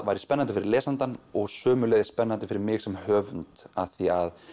væri spennandi fyrir lesandann og sömuleiðis spennandi fyrir mig sem höfund af því að